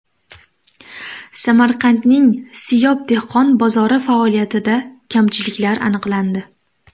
Samarqandning Siyob dehqon bozori faoliyatida kamchiliklar aniqlandi.